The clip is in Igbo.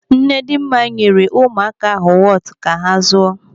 Nnedịmma, ụmụaka ahụ wọtu ka ha zụọ.